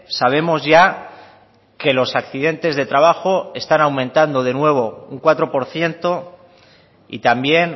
sabemos ya que los accidentes de trabajo están aumentando de nuevo un cuatro por ciento y también